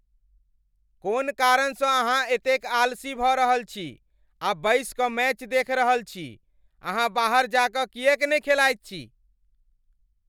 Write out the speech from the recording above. कोन कारणसँ अहाँ एतेक आलसी भऽ रहल छी आ बैसि कऽ मैच देखि रहल छी? अहाँ बाहर जा कऽ किएक ने खेलाइत छी?